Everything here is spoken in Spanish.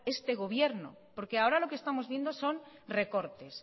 este gobierno porque ahora lo que estamos viendo son recortes